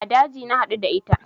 A daji na haɗu da ita